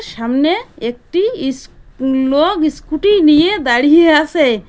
সামনে একটি ইস্ লোগ ইস্কুটি নিয়ে দাঁড়িয়ে আসে।